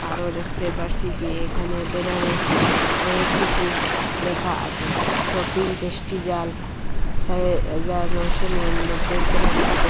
আরও দেখতে পারসি যে এখানে বেনারে অনেক কিছু লেখা আসে শপিং পেজটিজাল সে হাজার নয়শ নিরান্নবইয়ের কেনাকাটা করুন।